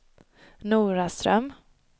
Noraström